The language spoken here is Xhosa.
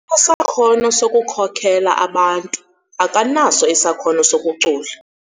sakhono sokukhokela abantu. akanaso isakhono sokucula